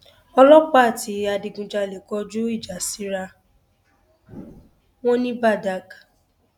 ọlọpàá àti adigunjalè kọjú ìjà síra wọn ní badág